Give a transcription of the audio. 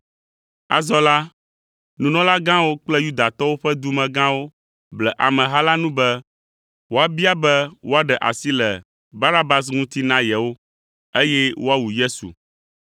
Azɔ la, nunɔlagãwo kple Yudatɔwo ƒe dumegãwo ble ameha la nu be woabia be woaɖe asi le Barabas ŋuti na yewo, eye woawu Yesu.